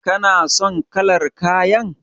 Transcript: Kana son kalar kayan?